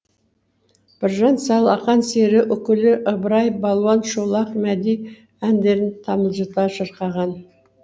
біржан сал ақан сері үкілі ыбырай балуан шолақ мәди әндерін тамылжыта шырқаған